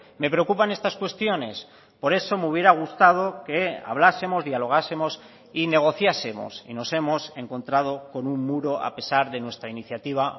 me preocupan estas cuestiones por eso me hubiera gustado que hablásemos dialogásemos y negociásemos y nos hemos encontrado con un muro a pesar de nuestra iniciativa